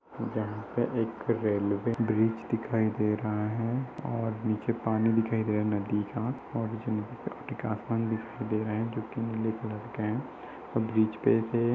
यहाँ पे एक रेलवे ब्रिज दिखाई दे रहा है और नीचे पानी दिखाया गया है नदी का और नजिक आगे आसमान दिखाई दे रहा है जोकि नीले कलर का है और ब्रिज पे से --